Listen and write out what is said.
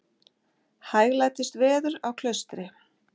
Hæglætis veður á Klaustri